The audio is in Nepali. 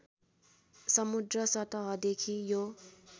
समुद्र सतहदेखि यो